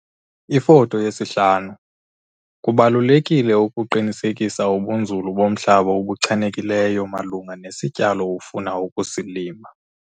Ifoto 5- Kubalulekile ukuqinisekisa ubunzulu bomhlaba obuchanekileyo malunga nesityalo ofuna ukusilima.